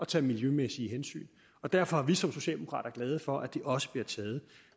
tage miljømæssige hensyn og derfor er vi socialdemokrater glade for at de også bliver taget